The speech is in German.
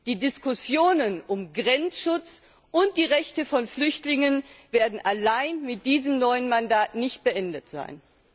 Die Diskussionen um Grenzschutz und um die Rechte von Flüchtlingen werden allein mit diesem neuen Mandat nicht beendet sein.